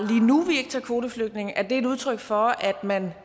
nu vi ikke tager kvoteflygtninge er et udtryk for at man